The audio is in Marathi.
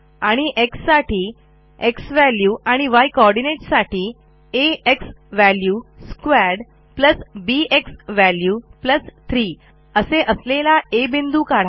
आणि xसाठी झ्वॅल्यू आणि य coordinateसाठी आ xValue2 बी झ्वॅल्यू 3 असे असलेला आ बिंदू काढा